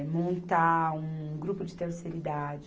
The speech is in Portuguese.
Montar um grupo de terceira idade.